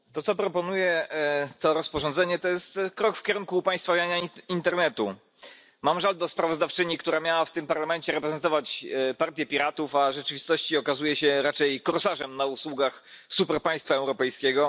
Panie Przewodniczący! To, co proponuje to rozporządzenie, to jest krok w kierunku upaństwawiania internetu. Mam żal do sprawozdawczyni, która miała w tym Parlamencie reprezentować Partię Piratów, a rzeczywistości okazuje się raczej korsarzem na usługach superpaństwa europejskiego.